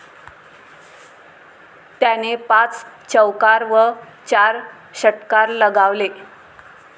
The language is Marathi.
त्याने पाच चौकार व चार षटकार लगावले.